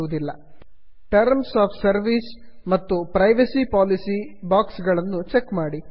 terms of service terms of service ಮತ್ತು privacy policy privacy policy box ಗಳನ್ನು check ಮಾಡಿ